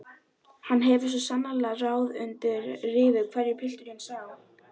Hann hefur svo sannarlega ráð undir rifi hverju pilturinn sá!